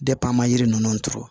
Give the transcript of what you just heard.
an ma yiri ninnu turu